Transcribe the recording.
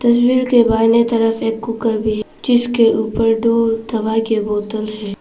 तस्वीर के बाईने तरफ एक कुकर भी है जिसके ऊपर दो दवा के बोतल हैं।